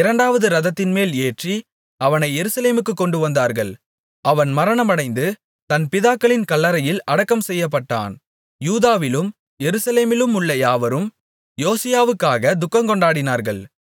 இரண்டாவது இரதத்தின்மேல் ஏற்றி அவனை எருசலேமுக்குக் கொண்டுவந்தார்கள் அவன் மரணமடைந்து தன் பிதாக்களின் கல்லறையில் அடக்கம் செய்யப்பட்டான் யூதாவிலும் எருசலேமிலுமுள்ள யாவரும் யோசியாவுக்காகத் துக்கங்கொண்டாடினார்கள்